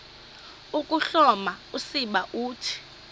ukuhloma usiba uthi